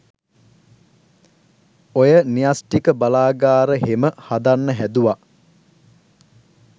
ඔය න්‍යෂ්ඨික බලාගාර හෙම හදන්න හැදුව